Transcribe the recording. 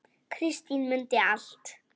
Kristín mundi allt.